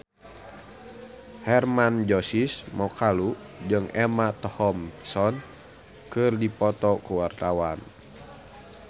Hermann Josis Mokalu jeung Emma Thompson keur dipoto ku wartawan